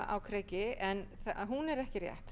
á kreiki en hún er ekki rétt